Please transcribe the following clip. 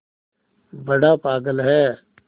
बड़ा पागल है